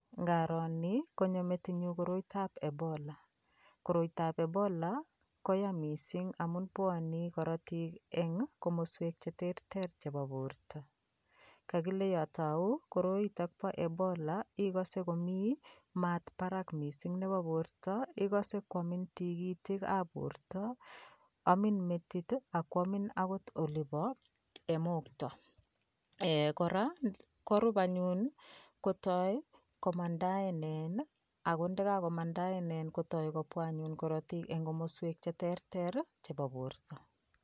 Ngaro nii konyo metinyun koiroitab Ebola, koiroitab Ebola koyaa mising amun bwone korotik eng' komoswek cheterter chebo borto, kokile yoon tauu koroiton Bo Ebola ikose komii maat Barak mising Nebo borto, ikose kwomin tikitikab borto, omiin metit ak kwomin akot olibo mokto, Um kora korub anyun kotoi komandaenen ak ko yekakomandaenen kotoi kobwa anyun korotik en komoswek cheterter chebo borto.